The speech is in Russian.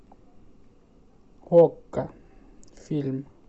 окко фильм